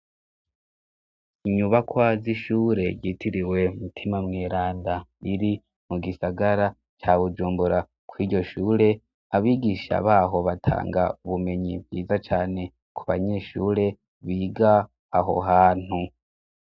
Inyubakwa z’ishure ryitiriwe mutima mweranda riri mu gisagara ca bujumbura kw'iryo shure abigisha baho batanga ubumenyi bwiza cane ku banyeshure biga aho hantu.